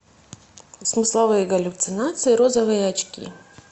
смысловые галлюцинации розовые очки